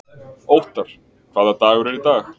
Óttar, hvaða dagur er í dag?